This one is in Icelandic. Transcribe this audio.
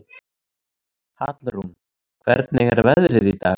Hallrún, hvernig er veðrið í dag?